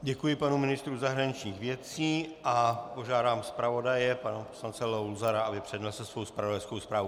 Děkuji panu ministru zahraničních věcí a požádám zpravodaje pana poslance Luzara, aby přednesl svou zpravodajskou zprávu.